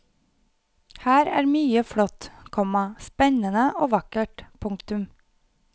Her er mye flott, komma spennende og vakkert. punktum